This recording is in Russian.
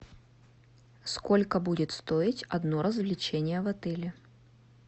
сколько будет стоить одно развлечение в отеле